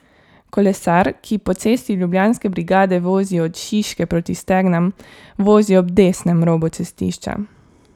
Kolesar, ki po Cesti Ljubljanske brigade vozi od Šiške proti Stegnam, vozi ob desnem robu cestišča.